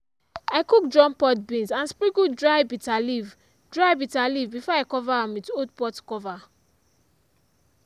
i cook drum pod beans and sprinkle dry bitter leaf dry bitter leaf before i cover am with old pot cover.